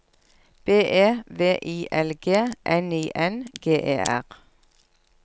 B E V I L G N I N G E R